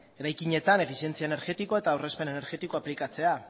eraikinetan efizientzia energetikoa eta aurrezpen energetikoa aplikatzea